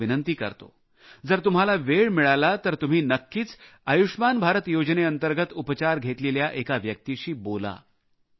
मी तुम्हाला विनंती करतो जर तुम्हाला वेळ मिळाला तर तुम्ही नक्कीच आयुष्मान भारत योजनेंतर्गत उपचार घेतलेल्या एका व्यक्तीशी बोला